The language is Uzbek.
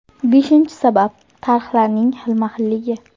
Beshinchi sabab: tarhlarning xilma-xilligi.